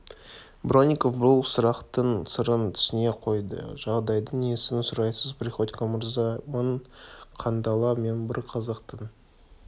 бронников бұл сұрақтың сырын түсіне қойды жағдайдың несін сұрайсыз приходько мырза мың қандала мен бір қазақтың